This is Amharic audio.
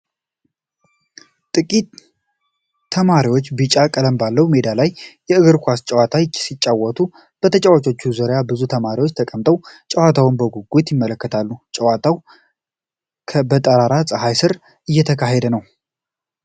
ጥቂት ተማሪዎች ቢጫ ቀለም ባለው ሜዳ ላይ የእግር ኳስ ጨዋታ ሲጫወታሉ። በተጫዋቾች ዙሪያ ብዙ ተማሪዎች ተቀምጠው ጨዋታውን በጉጉት ይመለከታሉ። ጨዋታው በጠራራ ፀሐይ ስር እየተካሄደ ነው።